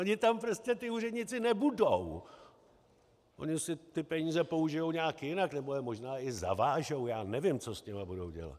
Oni tam prostě ti úředníci nebudou, oni si ty peníze použijí nějak jinak nebo je možná i zavážou, já nevím, co s nimi budou dělat.